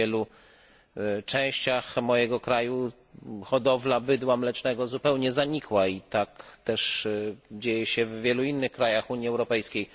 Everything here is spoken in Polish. W wielu częściach mojego kraju hodowla bydła mlecznego zupełnie zanikła i tak też dzieje się w wielu innych krajach Unii Europejskiej.